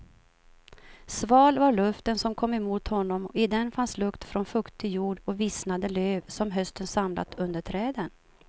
Sval var luften som kom emot honom och i den fanns lukt från fuktig jord och vissnade löv som hösten samlat under träden.